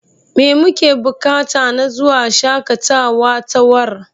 Me muke buƙata na zuwa shaƙatawatawar?